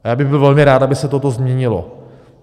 A já bych byl velmi rád, aby se toto změnilo.